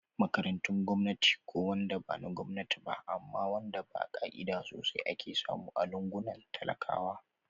Makarantun gwamnati ko wanda bana Gwamnati ba amma wanda ba ka'ida sosai ake samu a lungunan talakawa